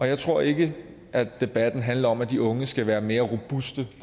jeg tror ikke at debatten handler om at de unge skal være mere robuste det